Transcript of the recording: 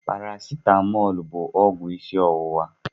Paracitamọ bụ ọgwụ isi ọwụwa.